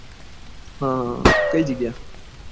હા હા કઈ જગ્યા